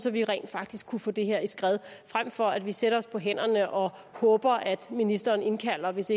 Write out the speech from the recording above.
at vi rent faktisk kunne få det her i skred frem for at vi sætter os på hænderne og håber at ministeren indkalder hvis